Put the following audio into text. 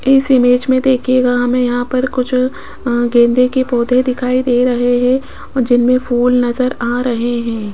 इस इमेज में देखेगा हमें यहां पर कुछ गेंदे के पौधे दिखाई दे रहे हैं और जिनमे फुल नजर आ रहे हैं।